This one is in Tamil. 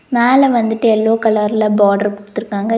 மேல வந்துட்டு எல்லோ கலர்ல பாட்ரு குடுத்துருகாங்கய்.